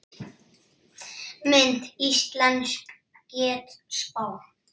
Mynd: Íslensk getspá